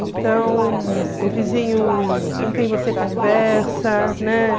Então, o vizinho com quem você conversa, né?